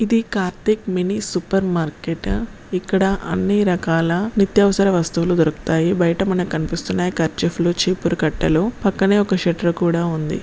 ఇది Karthika mini super మార్కేటా ఇక్కడ అన్ని రకాల నిత్యావసర వస్తువులు దొరుకుతాయి బయట మనకి కనిపిస్తున్నాయి కర్చీఫ్ లు చీపురు కట్టలు పక్కనే ఒక షెట్టర్ కూడ ఉంది.